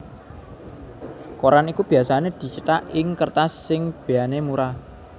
Koran iku biasané dicithak ing kertas sing béyané murah